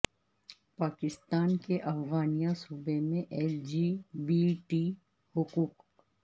پاکستان کے افغانیہ صوبے میں ایل جی بی ٹی حقوق